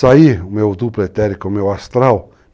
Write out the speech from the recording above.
Saí o meu duplo etérico, o meu astral.